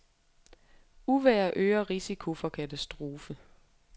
Uvejr øger risiko for katastrofe.